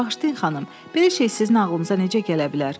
Bağışlayın, xanım, belə şey sizin ağlınıza necə gələ bilər?